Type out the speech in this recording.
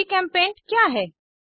जीचेम्पेंट क्या है160